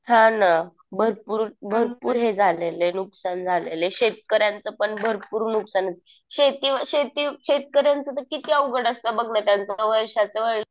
हा ना. भरपूर भरपूर हे झालेलं आहे. नुकसान झालेलं आहे. शेतकऱ्यांचं पण भरपूर नुकसान. शेती शेती शेतकऱ्यांचं तर किती अवघड असतं बघ ना. त्यांचं तर वर्षाचं